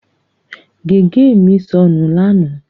Gègé mi sọnù lánàá.